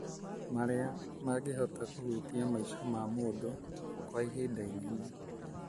marĩa mangĩhota kũhutia maica ma mũndũ kwa ihinda inene.